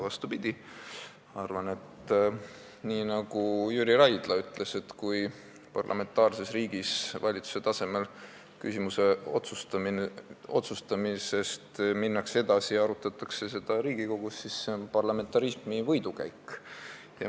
Vastupidi, ma arvan nii, nagu ütles Jüri Raidla, et kui parlamentaarses riigis minnakse valitsuse tasemel küsimuse otsustamisest edasi ja arutatakse seda Riigikogus, siis see on parlamentarismi võidukäik.